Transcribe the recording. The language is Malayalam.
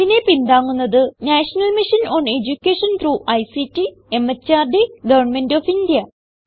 ഇതിനെ പിന്താങ്ങുന്നത് national mission on education through ICT MHRD government of India